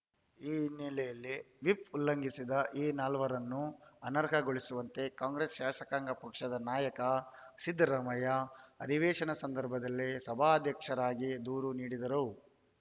ಈ ಹಿನ್ನೆಲೆಯಲ್ಲಿ ವಿಪ್ ಉಲ್ಲಂಘಿಸಿದ ಈ ನಾಲ್ವರನ್ನು ಅನರ್ಹಗೊಳಿಸುವಂತೆ ಕಾಂಗ್ರೆಸ್ ಶಾಸಕಾಂಗ ಪಕ್ಷದ ನಾಯಕ ಸಿದ್ದರಾಮಯ್ಯ ಅಧಿವೇಶನ ಸಂದರ್ಭದಲ್ಲೆ ಸಭಾಧ್ಯಕ್ಷರಿಗೆ ದೂರು ನೀಡಿದರು